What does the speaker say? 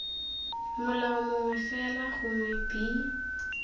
molao mongwe fela gongwe b